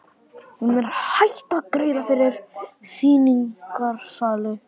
Hún er hætt að greiða fyrir sýningarsali.